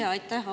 Jaa, aitäh!